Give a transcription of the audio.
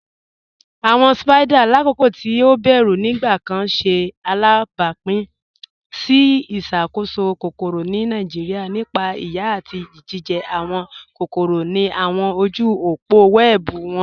Awọn Spiders, lakoko ti o bẹru nigbakan, ṣe alabapin si iṣakoso kokoro ni Nigeria nípa iyà ati ijijẹ awọn kokoro ni awọn ojú òpó wẹẹbu wọn.